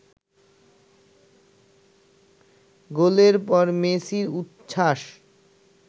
গোলের পর মেসির উচ্ছ্বাস